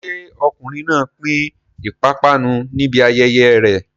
Ṣé ọkùnrin náà pín ìpápánu níbi ayẹyẹ rẹ̀?